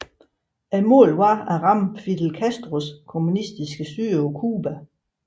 Målet var at ramme Fidel Castros kommunistiske styre på Cuba